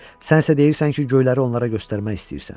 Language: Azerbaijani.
Sən isə deyirsən ki, göyləri onlara göstərmək istəyirsən.